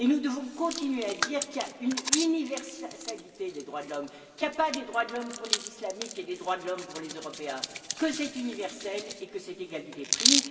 Nous devons continuer à dire qu'il y a une universalité des droits de l'homme, qu'il n'y a pas des droits de l'homme pour les Islamiques et des droits de l'homme pour les Européens, que c'est universel et que cette égalité prime.